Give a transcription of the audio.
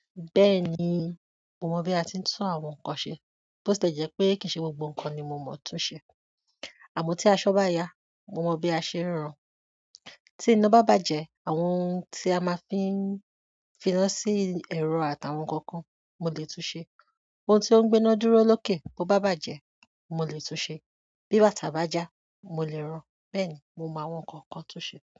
Bẹ́ẹ̀ni, mo mọ̀ bí a ti ń tún àwọn nǹkan ṣe, bó tile jẹ́ pé kì í ṣe gbogbo nǹkan ni mo mọ̀ tóún ṣe. Àmọ́ tí aṣọ bá yá, mo mọ bí a ṣe ń ran. Tí iná bá bàjẹ́, àwọn ohun tí a máa fi ń finá sí ẹ̀rọ àtàwọn nǹkan kan, mo lè tún ṣe. Ohun tí ó ń gbéná dúró lókè bó bá bàjẹ́, mo lè tún ṣe. Bí bàtà bá já, mo lè ran. Bẹ́ẹ̀ni, mo mọ àwọn nǹkan kan tun ṣe.